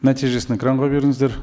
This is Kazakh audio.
нәтижесін экранға беріңіздер